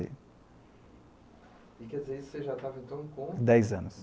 E quer dizer, você já estava, então, com... Dez anos.